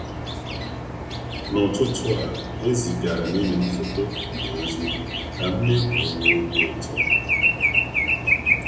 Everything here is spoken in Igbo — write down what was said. n'ụtụtụ a, ezigaara m enyi m foto na ozi ka m mee ka ọ nwee obi ụtọ.